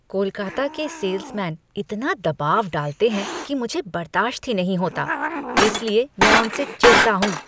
कोलकाता के सेल्समैन इतना दबाव डालते हैं कि मुझे बर्दाश्त ही नहीं होता, इसलिए मैं उनसे चिढ़ता हूँ।